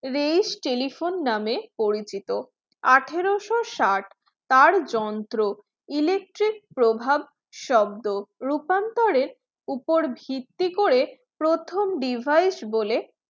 reis telephone নামে পরিচিত আঠারোশো ষাট তার যন্ত্র electric প্রভাব শব্দ রূপান্তরের উপর ভিত্তি করে প্রথম device বলে